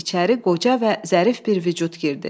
İçəri qoca və zərif bir vücud girdi.